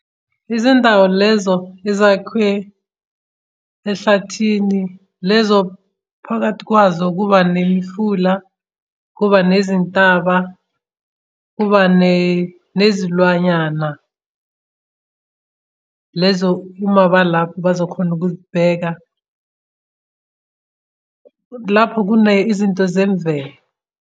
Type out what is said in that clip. Izindawo lezo ezakhwe ehlathini lezo phakathi kwazo kuba nemifula, kuba nezintaba, kuba nezilwanyana, lezo uma abalapha bazokhona ukuzibheka. Lapho kune izinto zemvelo.